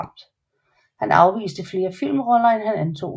Han afviste flere filmroller end han antog